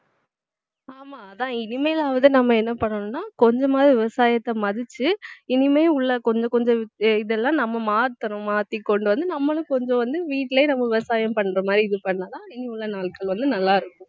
ஆமா அதான் இனிமேலாவது நம்ம என்ன பண்ணனும்னா கொஞ்சமாவது விவசாயத்தை மதிச்சு இனிமேல் உள்ள கொஞ்ச கொஞ்சம் இதெல்லாம் நம்ம மாத்தணும். மாத்தி கொண்டு வந்து நம்மளும் கொஞ்சம் வந்து வீட்டிலேயே நம்ம விவசாயம் பண்ற மாதிரி இது பண்ணலாம் இனி உள்ள நாட்கள் வந்து நல்லாருக்கும்